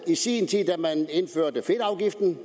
i sin tid indførte fedtafgiften